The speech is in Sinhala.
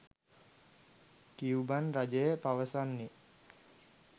කියුබන් රජය පවසන්නේ